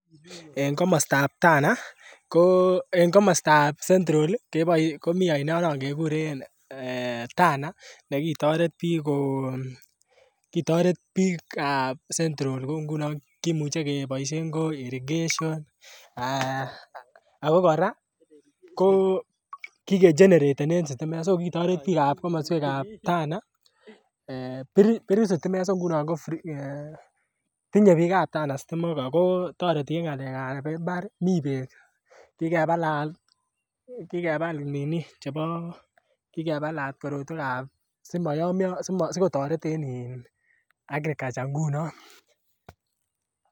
En komostab Tana ko en komostab central ii komii oino non keguren Tana nekitoret biik ko kitoret biikab central kouu ngunon kimuche ke boishen en irrigation ee ako koraa ko kikegeneratenen stimet so kitoret biikab komoswekab Tana ee biruu stimet so ngunon ko free ee tinye biikab Tana stimok ko toreti en ngalekab imbar mii beek kikebalan kikebal nini chebo kikebalat korotwekab simo yomyo sigotoret en in agriculture ngunon.